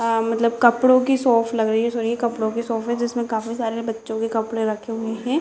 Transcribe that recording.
आ मतलब कपड़ों की शॉप लग रही है सॉरी ये कपड़ों की शॉप है काफी सारे बच्चों के कपड़े रखे हुए हैं।